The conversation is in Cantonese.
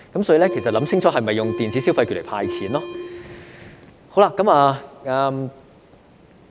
所以，政府應想清楚是否要用電子消費來"派錢"。